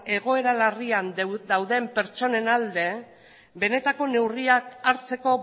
egoera larrian dauden pertsonen alde benetako neurriak hartzeko